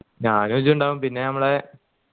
ഞാന് ഇജ്ജ് ഇണ്ടാവു പിന്നെ ഞമ്മളെ